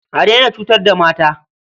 A daina cutar da mata.